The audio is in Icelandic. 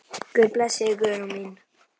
Guð blessi þig, Guðrún mín.